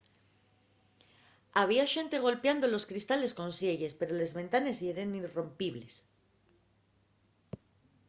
había xente golpiando los cristales con sielles pero les ventanes yeren irrompibles